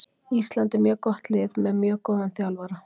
Ísland er mjög gott lið með mjög góðan þjálfara.